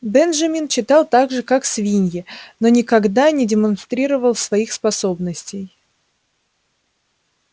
бенджамин читал так же как свиньи но никогда не демонстрировал своих способностей